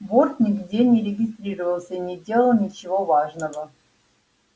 борт нигде не регистрировался и не делал ничего важного